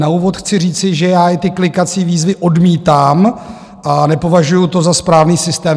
Na úvod chci říci, že já i ty klikací výzvy odmítám a nepovažuju to za správný systém.